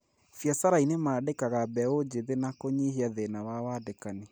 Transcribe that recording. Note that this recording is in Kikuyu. Biacarainĩ mandĩkaga mbeũ njĩthĩ na kũnyihia thĩna wa wandĩkani